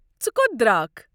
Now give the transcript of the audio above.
ژٕ کوٚت درٛاکھ؟